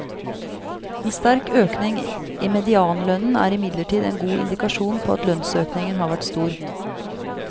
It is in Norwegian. En sterk økning i medianlønnen er imidlertid en god indikasjon på at lønnsøkningen har vært stor.